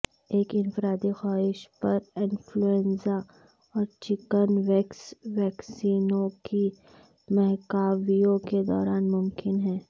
ایک انفرادی خواہش پر انفلوئنزا اور چکن وییکس ویکسینوں کی مہاکاویوں کے دوران ممکن ہے